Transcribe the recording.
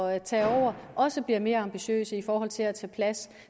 at tage over også bliver mere ambitiøs i forhold til at tage plads